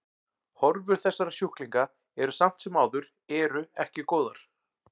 Horfur þessara sjúklinga eru samt sem áður eru ekki góðar.